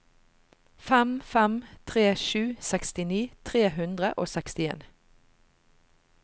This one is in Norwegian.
fem fem tre sju sekstini tre hundre og sekstien